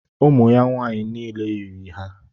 Ụmụ ya nwaanyị niile yiri ha.